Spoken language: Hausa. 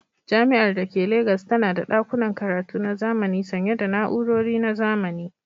Jami'ar da ke Legas tana da ɗakunan karatu na zamani sanye da na'urori na zamani.